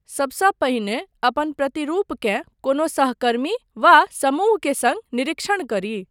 सबसँ पहिने, अपन प्रतिरूपकेँ कोनो सहकर्मी वा समूह के सङ्ग निरीक्षण करी।